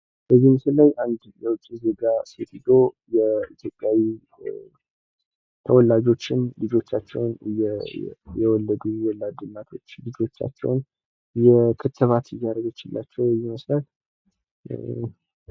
በምስሉ ላይ አንድ የውጭ ዜጋ ሴትዮ የኢትዮጵያዊ ተወላጆችን ልጆቻቸውን የወለዱ ወላድ እናቶችን ልጆቻቸውን p ክትባት እያረገችላቸው ይመስላል፡